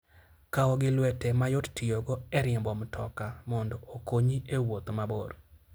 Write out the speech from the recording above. Kaw gi lwete ma yot tiyogo e riembo mtoka mondo okonyi e wuoth mabor.